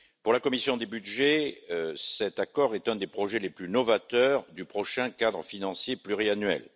Pour la commission des budgets, cet accord est un des projets les plus novateurs du prochain cadre financier pluriannuel.